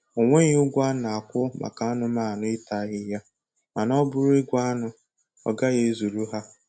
Onweghị ụgwọ a na-akwụ maka anụmanụ ịta ahịhịa, mana ọ bụrụ igwe anụ, ọ gaghị ezuru ha